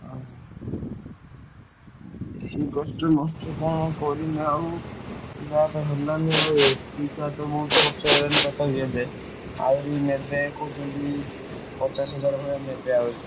ଓହୋ, ସେଇ କଷ୍ଟେ ମଷ୍ଟେ କଣ କରିମି ଆଉ ଯାହା ତ ହେଲାଣି ଆଉ ଏତେ ପଇସା ତ ମୋର ଖର୍ଚ ହେଇଗଲାଣି ତଥାପି ଏବେ ଆହୁରି ନେବେ କହୁଛନ୍ତି ପଚାଶ ହଜାର ଭଳିଆ ନେବେ ଆହୁରି।